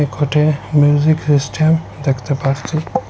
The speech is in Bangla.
ঘটে মিউজিক সিস্টেম দেখতে পারছি।